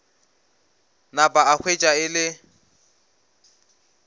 napa a hwetša e le